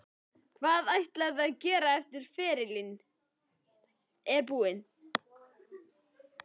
Hvað ætlarðu að gera eftir að ferilinn er búinn?